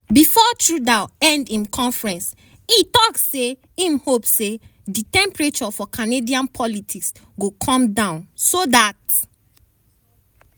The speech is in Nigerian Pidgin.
bifor trudeau end im press conference e tok say im hope na say di temperature for canadian politics go come down so dat